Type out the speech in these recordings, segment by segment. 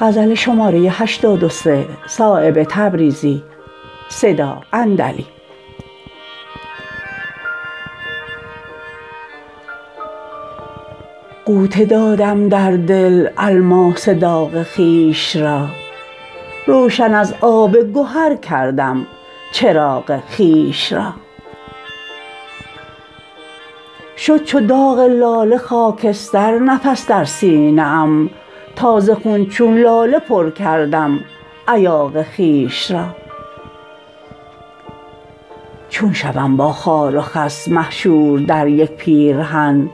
غوطه دادم در دل الماس داغ خویش را روشن از آب گهر کردم چراغ خویش را شد چو داغ لاله خاکستر نفس در سینه ام تا ز خون چون لاله پر کردم ایاغ خویش را چون شوم با خار و خس محشور در یک پیرهن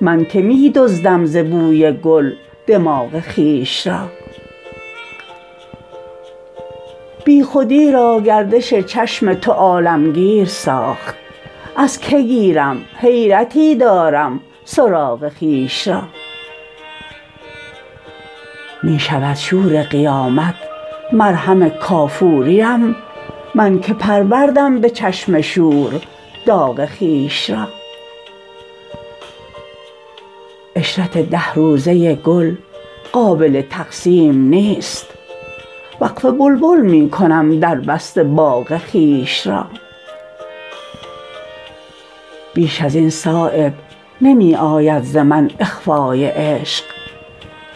من که می دزدم ز بوی گل دماغ خویش را بی خودی را گردش چشم تو عالمگیر ساخت از که گیرم حیرتی دارم سراغ خویش را می شود شور قیامت مرهم کافوریم من که پروردم به چشم شور داغ خویش را عشرت ده روزه گل قابل تقسیم نیست وقف بلبل می کنم دربسته باغ خویش را بیش ازین صایب نمی آید ز من اخفای عشق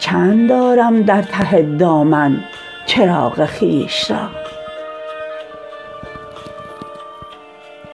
چند دارم در ته دامن چراغ خویش را